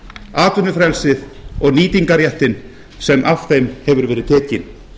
atvinnufrelsi og nýtingarréttinn sem af þeim hefur verið tekinn